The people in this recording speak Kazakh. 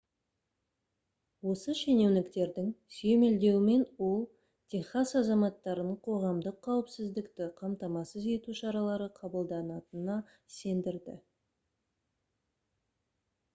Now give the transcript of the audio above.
осы шенеуніктердің сүйемелдеуімен ол техас азаматтарын қоғамдық қауіпсіздікті қамтамасыз ету шаралары қабылданатынына сендірді